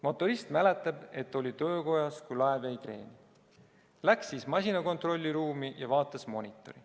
Motorist mäletab, et ta oli töökojas, kui laev jäi kreeni, läks siis masina kontrollruumi ja vaatas monitori.